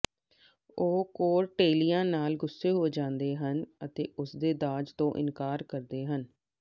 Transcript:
ਉਹ ਕੋਰਡੇਲੀਆ ਨਾਲ ਗੁੱਸੇ ਹੋ ਜਾਂਦੇ ਹਨ ਅਤੇ ਉਸਦੇ ਦਾਜ ਤੋਂ ਇਨਕਾਰ ਕਰਦੇ ਹਨ